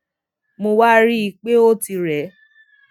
mo wá rí i pé ó ti rè